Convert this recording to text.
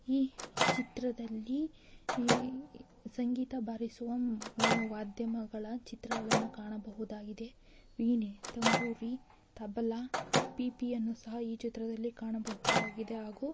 ಈ ಚಿತ್ರದಲ್ಲಿ ಸಂಗೀತ ಬಾರಿಸುವ ವಾದ್ಯಗಳ ಚಿತ್ರಗಳನ್ನು ಕಾಣಬಹುದಾಗಿದೆ ಪಿಪಿ ತಂಬೂರಿ ತಬಲ ಬಿಪಿಯನ್ನು ಸಹ ಈ ಚಿತ್ರದಲ್ಲಿ ಕಾಣಬಹುದಾಗಿದೆ ಹಾಗೂ--